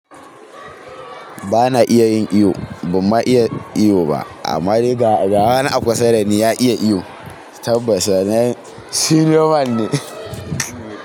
Ba na iya yin iyo, ban ma iya iyo ba. Ammadai ga wani a kusa da ni ya iya iyo, tabbas wannan, Seniorman ne.